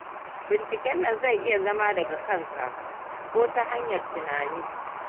Binciken nan zai iya zama daga kanka, ko ta hanyar tunani.